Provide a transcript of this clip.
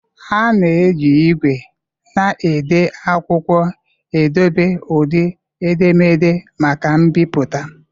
A na-eji igwe na-ede akwụkwọ edobe ụdị edemede maka mbipụta.